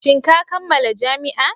Shin ka kammala jami'a?